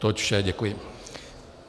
To je vše, děkuji.